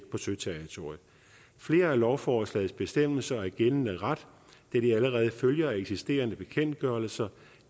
på søterritoriet flere af lovforslagets bestemmelser er gældende ret da de allerede følger af eksisterende bekendtgørelser